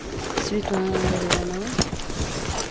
светлана ларионова